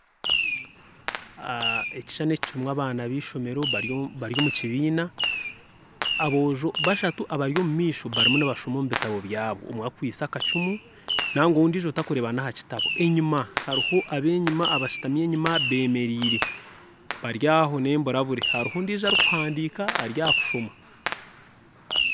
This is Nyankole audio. Ekishushani eki kirumu abaana beishomero bari omukibiina aboojo bashatu abari omumaisho barumu nibashoma omu bitano byabo omwe akwitse akacumu nangwa we ondijo takureba nahakitabo enyuma haruho abenyuma bashutami enyuma bemereire bari aho nemburabure haruho ondijo ari ahakuhandiika ari ahakushoma.